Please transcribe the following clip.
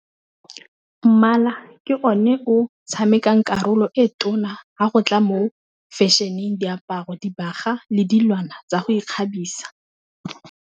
Mmala ke o ne o tshamekang karolo e tona, ha go tla mo fashion-eng diaparo, dibaga, le dilwana tsa go ikgabisa.